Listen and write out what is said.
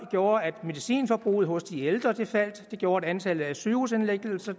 gjorde at medicinforbruget hos de ældre faldt det gjorde at antallet af sygehusindlæggelser